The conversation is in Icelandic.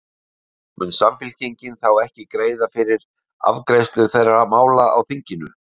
Heimir: Mun Samfylkingin þá ekki greiða fyrir afgreiðslu þeirra mála í þinginu?